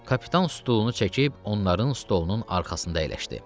Kapitan stulunu çəkib onların stolunun arxasında əyləşdi.